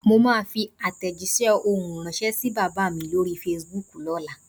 Mo máa fi àtèjísé ohùn ránsẹ́ sí bàbá mi lórí Fasibúùkù lóla